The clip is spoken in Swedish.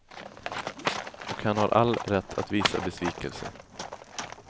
Och han har all rätt att visa besvikelse.